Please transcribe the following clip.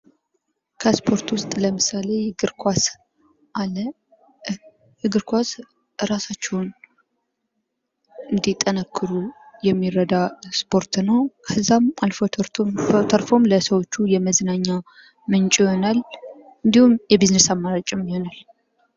ከስፖርት ውስጥ ለምሳሌ እግር ኳስ አለ። እግር ኳስ እራሳችሁን እዲጠነክሩ የሚረዳ ስፖርት ነው። ከዚህም አልፎ ተርፎ ለሰዎች የመዝናኛ ምንጭ ይሆናል። እንዲሁም የቢዝነስ አማራጭ ይሆናል።